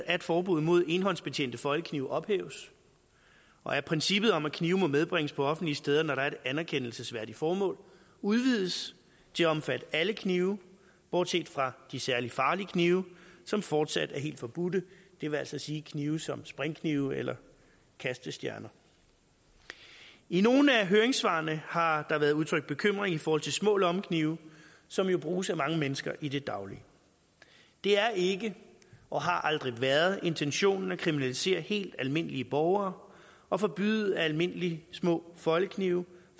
at forbuddet mod enhåndsbetjente foldeknive ophæves og at princippet om at knive må medbringes på offentlige steder når der er et anerkendelsesværdigt formål udvides til at omfatte alle knive bortset fra de særlig farlige knive som fortsat er helt forbudte det vil altså sige knive som springknive eller kastestjerner i nogle af høringssvarene har der været udtrykt bekymring i forhold til små lommeknive som jo bruges af mange mennesker i det daglige det er ikke og har aldrig været intentionen at kriminalisere helt almindelige borgere og forbyde at almindelige små foldeknive